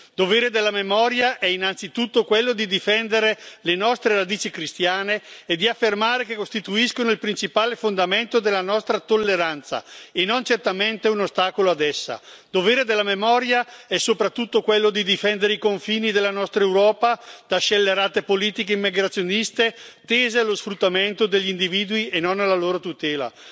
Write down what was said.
Dovere della memoria è innanzitutto quello di difendere le nostre radici cristiane e di affermare che costituiscono il principale fondamento della nostra tolleranza e non certamente un ostacolo a essa. Dovere della memoria è soprattutto quello di difendere i confini della nostra Europa da scellerate politiche immigrazioniste, tese allo sfruttamento degli individui e non alla loro tutela.